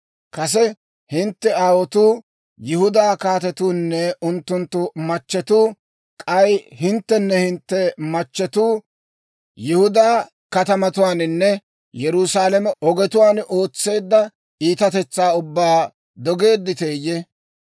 Kase hintte aawotuu, Yihudaa kaatetuunne unttunttu machchetuu, k'ay hinttenne hintte machchetuu Yihudaa katamatuwaaninne Yerusaalame ogetuwaan ootseedda iitatetsaa ubbaa dogeedditeeyye?